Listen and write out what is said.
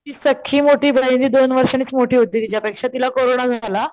ती सक्खी मोठी बहीण दोन वर्षांनीच मोठी होती तिच्या पेक्षा तिला कोरोना झाला,